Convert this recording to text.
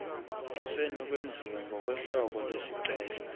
kusenokwenziwa ngokohlobo lwesicelo